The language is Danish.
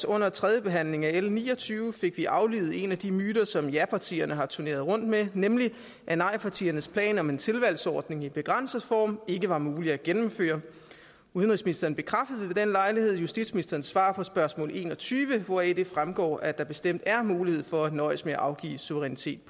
under tredje behandling af l ni og tyve fik vi aflivet en af de myter som japartierne har turneret rundt med nemlig at nejpartiernes plan om en tilvalgsordning i begrænset form ikke var mulig at gennemføre udenrigsministeren bekræftede ved den lejlighed justitsministerens svar på spørgsmål en og tyve hvoraf det fremgår at der bestemt er mulighed for at nøjes med at afgive suverænitet